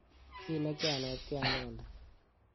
ki nekyanetkei anendet.